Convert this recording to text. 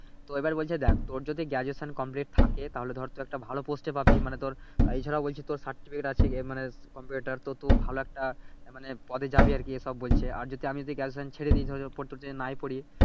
তো এইবার বলছে দেখ তোর যদি Graduation কমপ্লিট থাকে তাহলে ধর তুই একটা ভালো পোস্টে পাবি মানি ধর এছাড়াও বলছে তোর সার্টিফিকেট আছে ইয়ে মানে কম্পিউটার তো তুই ভালো একটা মানে পদে যাবি আর কি এইসব বলছে আর যদি আমি যদি Graduation ছেড়ে দেই ধরো যে প্রস্তুত হয়ে নাহ পড়ি